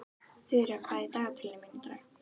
Þura, hvað er í dagatalinu mínu í dag?